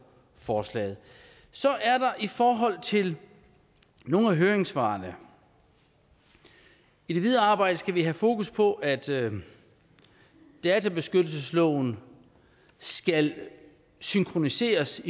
forslaget så er der i forhold til nogle af høringssvarene i det videre arbejde skal vi have fokus på at databeskyttelsesloven skal synkroniseres